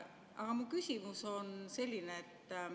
Aga mu küsimus on selline.